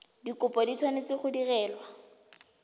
dikopo di tshwanetse go direlwa